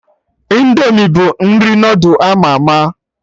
Indomi bụ nri noodul ama ama